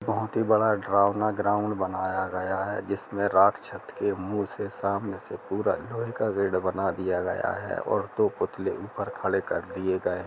बहुत ही बड़ा -ग्राउंड बनाया गया है जिसमे रात छट के मुह से सामने से पूरा लोहे का गेट बना दिया गया है और दो पुतले ऊपर खड़े कर दिए गए --